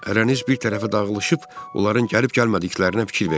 Ərəniz bir tərəfə dağılışıb, onların gəlib-gəlmədiklərinə fikir verin.